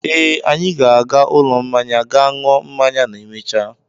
Ee, anyị ga-aga ụlọ mmanya gaa ṅụọ mmanya ma emechaa.